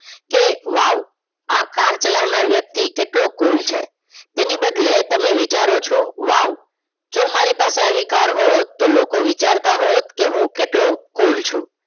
કે wow આ car ચલાવનર વ્યક્તિ કેટલો cool હસે. તેની બદલે તમે વિચારો છો wow જો મારી પાસે આવી car હોત તો લોકો વિચારતા હોત કે હુ કેટલો cool છુ.